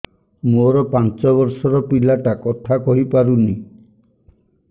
ମୋର ପାଞ୍ଚ ଵର୍ଷ ର ପିଲା ଟା କଥା କହି ପାରୁନି